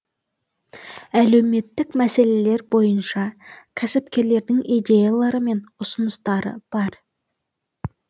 әлеуметтік мәселелер бойынша кәсіпкерлердің идеялары мен ұсыныстары бар